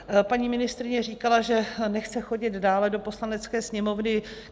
Paní ministryně říkala, že nechce chodit dále do Poslanecké sněmovny.